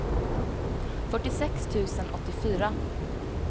fyrtiosex tusen åttiofyra